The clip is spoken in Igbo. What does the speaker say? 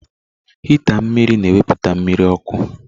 Hịịtá mmiri na ewepụta mmiri ọkụ.